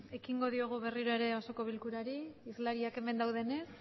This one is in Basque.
ekingo diogu berriro ere osoko bilkurari islariak hemen du denez